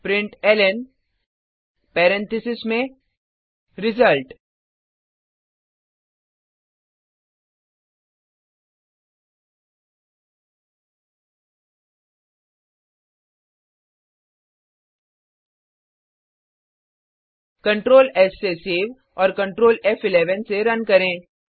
println parenthesis में result control S से save और कंट्रोल फ़11 से रन करें